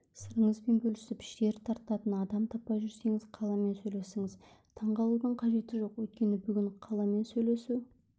сырыңызбен бөлісіп шер тарқататын адам таппай жүрсеңіз қаламен сөйлесіңіз таңғалудың қажеті жоқ өйткені бүгін қаламен сөйлесу